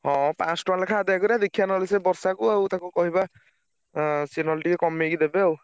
ହଁ ପାଂଶ ଟଙ୍କା ଲେଖା ଆଦାୟ କରିଆ ଦେଖିଆ ନ ହେଲେ ସେ ବର୍ଷା କୁ ଆଉ ତାକୁ କହିବା ଆଁ ସିଏ ନହେଲେ ଟିକେ କମେଇକି ଦେବେ ଆଉ।